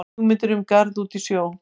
Hugmyndir um garð út í sjó